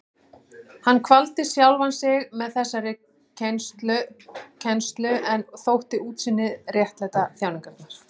Hann kvaldi sjálfan sig með þessari kennslu en þótti útsýnið réttlæta þjáningarnar.